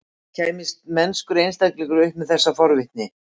Kæmist mennskur einstaklingur upp með þessa forvitni?